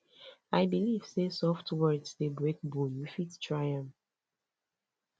i believe sey soft words dey break bone you fit try am